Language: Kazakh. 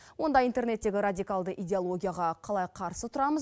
онда интернеттегі радикалды идеологияға қалай қарсы тұрамыз